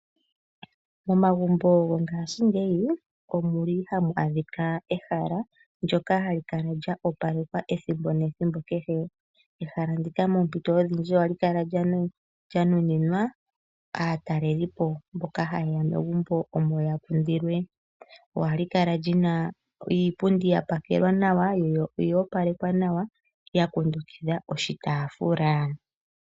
Momagumbo gongaashingeyi omuli hamu adhika ehala ndyoka hali kala lya opalekwa ethimbo nethimbo kehe. Ehala ndika poompito odhindji ohali kala lya nuninwa aataleli po, boka haye ya megumbo omo ya kundilwe. Ohali kala lyina iipundiya pakelwa nawa yo oya opalekwa nawa ya kundukidha oshitaafula.